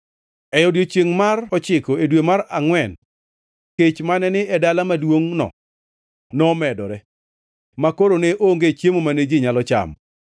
E odiechiengʼ mar ochiko e dwe mar angʼwen kech mane ni e dala maduongʼno nomedore makoro ne onge chiemo mane ji nyalo chamo.